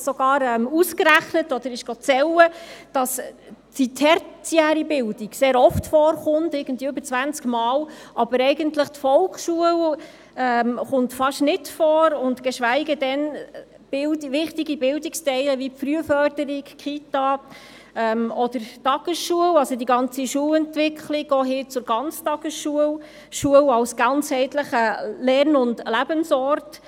Als wir diese Richtlinien im Hinblick auf die Bildung anschauten, schaute jemand aus unserer Fraktion nach und stellte fest, dass die tertiäre Bildung über zwanzigmal erwähnt wird, aber die Volksschule fast nicht vorkommt, geschweige denn wichtige Bildungselemente wie die Frühförderung, die Kita oder die Tagesschulen sowie die Schulentwicklung, auch hin zur Ganztagesschule und zur Schule als ganzheitlichem Lern- und Lebensort.